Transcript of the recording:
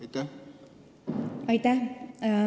Aitäh!